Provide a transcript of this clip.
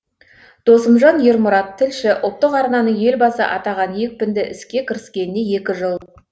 досымжан ермұрат тілші ұлттық арнаның елбасы атаған екпінді іске кіріскеніне екі жыл